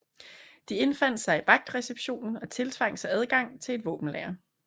De indfandt sig i vagtreceptionen og tiltvang sig adgang til et våbenlager